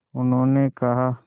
उन्होंने कहा